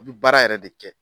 i bi baara yɛrɛ de kɛ.